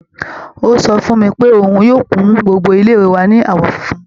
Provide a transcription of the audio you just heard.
Ó sọ fún mi pé òun yóò kun gbogbo ilé wa ní àwọn funfun